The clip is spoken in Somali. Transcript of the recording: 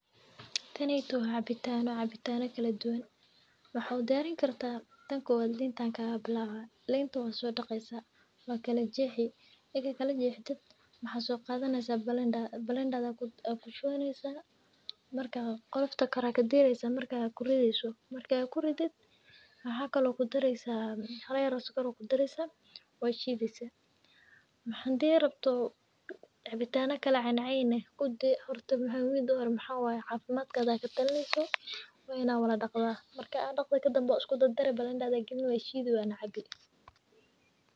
Taneytow wa cabitano , wa cabitano kaladuwan waxaa u diyarin kartaah tan kowad linta ankagabilabah, linta wasodaqeysaah , wakajexi, egi kalajexdo maxaa soqadaneysaah blender, [blender-da aa kushuwaneysaah markaa qolofta kore aa kadireysaah marka kurideyso marka kuridid maxaa kale oo kudareysaah hala yar oo sokor eh aa kudareysaah , washideysaah. Hansi rabto cabitano kala cenceyn eh horta midi uhore maxa way cafimadkaga aa katalineysaah , wa inaa wadadaqdaah, marka daqdho kadambe waiskudardari blenda aa galini washidi wana cabi.